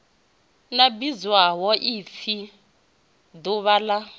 a vhidzwaho upfi duvha ḽa